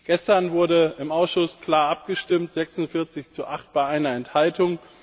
Gestern wurde im Ausschuss klar abgestimmt 46 zu 8 bei einer Enthaltung.